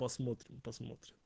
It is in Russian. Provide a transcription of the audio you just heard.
посмотрим посмотрим